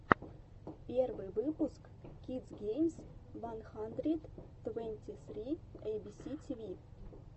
первый выпуск кидс геймс ван хандрэд твэнти сри эйбиси тиви